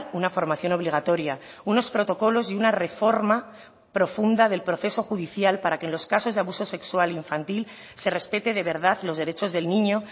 una formación obligatoria unos protocolos y una reforma profunda del proceso judicial para que en los casos de abuso sexual infantil se respete de verdad los derechos del niño